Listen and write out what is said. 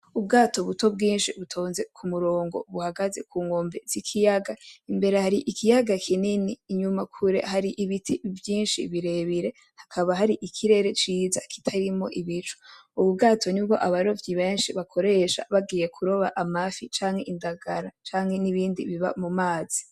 Ubwato buto bwinshi butonze kumurongo buhagaze kunkombe zikiyaga imbere hari ikiyaga kinini inyuma kure hari ibiti vyinshi vyinshi birebire hakaba hari ikirere ciza kitarimwo ibicu ubu bwato nibwo abarovyi benshi bakoresha bagiye kuroba amafi canke indagara canke nibindi biba mumazi